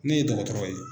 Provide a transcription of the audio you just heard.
Ne ye dɔgɔtɔrɔ ye